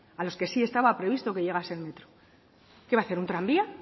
a los que sí estaba previsto que llegase el metro qué va a hacer un tranvía